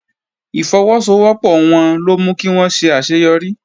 Ìfọwọ́sowọ́pọ̀ wọn ló mú kí wón ṣe àṣeyọrí